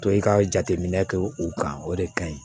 To i ka jateminɛ kɛ u kan o de kaɲi